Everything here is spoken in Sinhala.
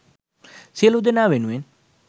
සියලු දෙනා වෙනුවෙන්